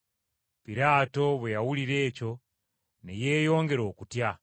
Piraato bwe yawulira ekyo ne yeeyongera okutya.